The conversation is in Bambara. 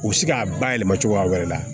U bɛ se k'a bayɛlɛma cogoya wɛrɛ la